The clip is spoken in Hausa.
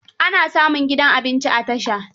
Ana samun gidan abinci a tasha.